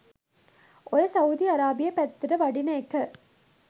ඔය Saudi Arabia පැත්තට වඩින එක